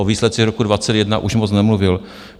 O výsledcích roku 2021 už moc nemluvil.